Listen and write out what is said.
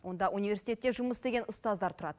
онда университетте жұмыс істеген ұстаздар тұрады